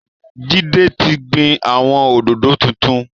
Jídé ti gbin àwọn òdòdó tuntun